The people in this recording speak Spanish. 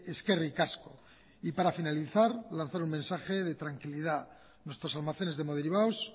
eskerrik asko y para finalizar lanzar un mensaje de tranquilidad nuestros almacenes de hemoderivados